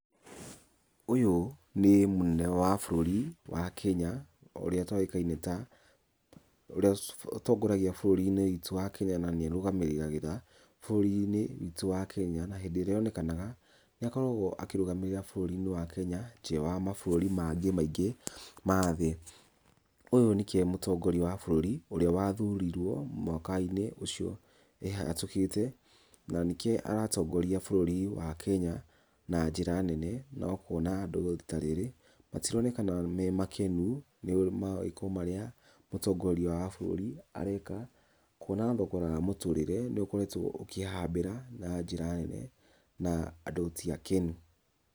Ũyũ nĩ mũnene wa bũrũri wa Kenya, ũrĩa ũtoĩkaine ta ũrĩa ũtongoragia bũrũri-inĩ witũ wa Kenya na nĩ arũgamagĩrĩra bũrũri-inĩ witũ wa Kenya, hindĩ ĩrĩa on, ekanaga nĩ akoragwo akĩrũgamĩrĩra bũrũri-inĩ wa Kenya, nja wa mabũrũri mangĩ maingĩ ma thĩ, ũyũ nĩkio e mũtongoria wa bũrũri ũrĩa wa thuriwo mwaka-inĩ ũcio ehatũkĩte, na nĩkio aratongoria bũrũri wa Kenya na njĩra nene na ũkona andũ rita rĩrĩ matironekana memakenu nĩ mawĩko marĩa mũtongoria wa bũrũri areka, kuona thogora wa mũtũrĩre nĩ ũkoretwo ũkĩhambĩra na njĩra nene, na andũ ti akenu.